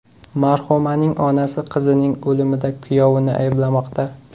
Marhumaning onasi qizining o‘limida kuyovini ayblamoqda.